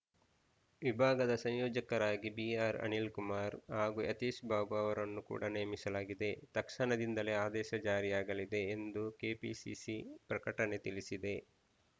ವಿಭಾಗದ ಸಂಯೋಜಕರಾಗಿ ಬಿಆರ್‌ ಅನಿಲ್‌ಕುಮಾರ್‌ ಹಾಗೂ ಯತೀಶ್‌ ಬಾಬು ಅವರನ್ನು ಕೂಡ ನೇಮಿಸಲಾಗಿದೆ ತಕ್ಷಣದಿಂದಲೇ ಆದೇಶ ಜಾರಿಯಾಗಲಿದೆ ಎಂದು ಕೆಪಿಸಿಸಿ ಪ್ರಕಟಣೆ ತಿಳಿಸಿದೆ